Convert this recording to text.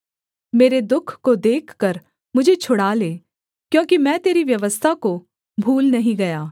मेरे दुःख को देखकर मुझे छुड़ा ले क्योंकि मैं तेरी व्यवस्था को भूल नहीं गया